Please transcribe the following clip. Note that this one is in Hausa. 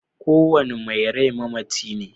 Kowane mai rai mamaci ne.